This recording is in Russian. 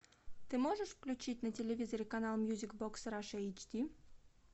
ты можешь включить на телевизоре канал мьюзик бокс раша эйч ди